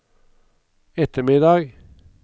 ettermiddag